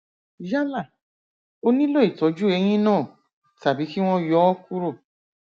yálà ó nílò ìtọjú eyín náà tàbí kí wọn yọ ọ kúrò